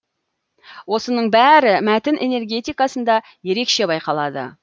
осының бәрі мәтін энергетикасында ерекше байқалады